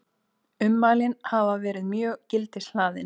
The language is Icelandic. Ummælin hafi verið mjög gildishlaðin